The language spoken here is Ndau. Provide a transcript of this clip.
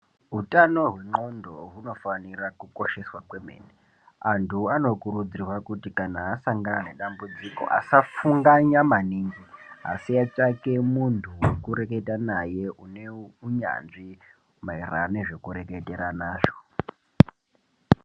Hutano hwengonxo hunofana kukosheswa kwemene antu anokurudzirwa kuti kana asangana nedambudziko assfunganya maningi atsvake muntu wekureketa naye and unyanzvi maererano nezvekureketerana zvo.